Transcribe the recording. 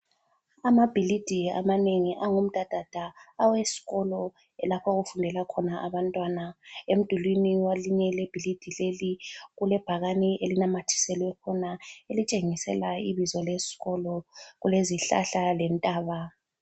Amabhilidi amanengi angumdadada aweskolo lapho okufundela khona abantwana. Emdulini welinye ibhilidi leli kulebhakani elinamathiselwe khona elitshengisela ibizo leskolo. Kulezihlahla lentaba.